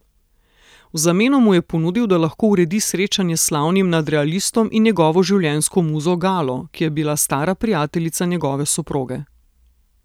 V zameno mu je ponudil, da lahko uredi srečanje s slavnim nadrealistom in njegovo življenjsko muzo Galo, ki je bila stara prijateljica njegove soproge.